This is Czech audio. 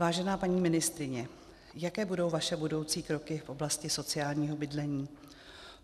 Vážená paní ministryně, jaké budou vaše budoucí kroky v oblasti sociálního bydlení?